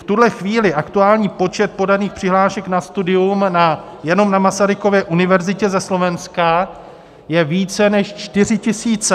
V tuhle chvíli aktuální počet podaných přihlášek na studium jenom na Masarykově univerzitě ze Slovenska, je více než 4 tisíce.